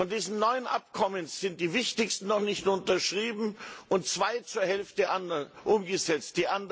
Von diesen neun Abkommen sind die wichtigsten noch nicht unterschrieben und zwei zur Hälfte umgesetzt.